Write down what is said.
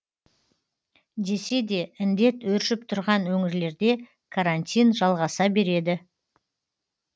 десе де індет өршіп тұрған өңірлерде карантин жалғаса береді